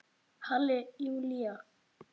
Halli Júlía!